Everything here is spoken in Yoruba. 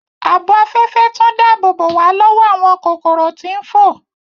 Ààbò Afẹfẹ tún dáàbòbo wa lọwọ awọn kokoro ti n fo